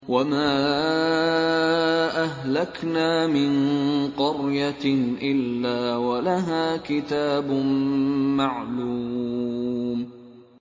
وَمَا أَهْلَكْنَا مِن قَرْيَةٍ إِلَّا وَلَهَا كِتَابٌ مَّعْلُومٌ